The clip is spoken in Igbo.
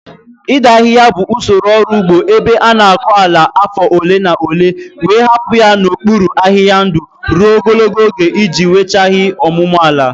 Ịda ahịhịa bụ usoro ọrụ ugbo ebe a na-akọ ala afọ ole na ole wee hapụ ya n'okpuru ahịhịa ndụ ruo ogologo oge iji weghachi ọmụmụ ala.